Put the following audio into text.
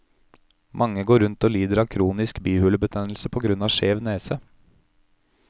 Mange går rundt og lider av kronisk bihulebetennelse på grunn av skjev nese.